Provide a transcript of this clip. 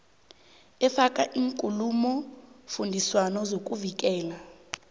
efaka iinkulumofundiswano zokuvikela